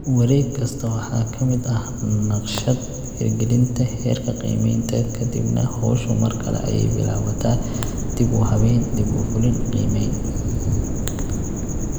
Wareeg kasta waxaa ka mid ah naqshad > hirgelinta> heerka qiimaynta, ka dibna hawshu mar kale ayay bilaabataa (dib u habayn> dib u fulin> qiimayn).